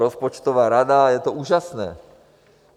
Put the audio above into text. Rozpočtová rada, je to úžasné.